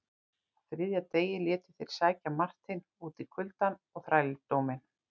Á þriðja degi létu þeir sækja Marteinn út í kuldann og þrældóminn.